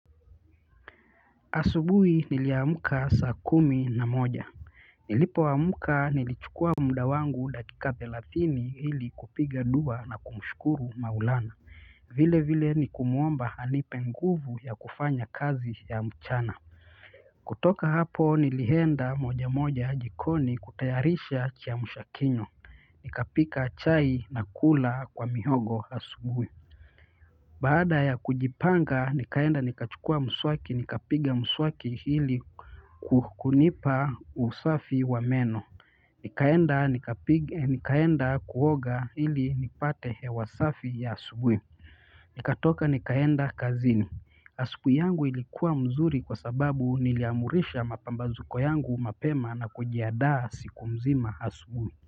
Asubui niliamka saa kumi na moja. Nilipoamka nilichukua muda wangu dakika thelathini ili kupiga dua na kumshukuru maulana vile vile nikumwomba anipe nguvu ya kufanya kazi ya mchana kutoka hapo nilihenda moja moja jikoni kutayarisha kiamshakinywa nikapika chai na kula kwa mihogo asubuhi baada ya kujipanga nikaenda nikachukua mswaki nikapiga mswaki hili kukunipa usafi wa meno nikaenda nika nikaenda kuoga ili nipate hewa safi ya asubui. Nikatoka nikaenda kazini asubui yangu ilikuwa mzuri kwa sababu niliamurisha mapambazuko yangu mapema na kujiandaa siku mzima asubui.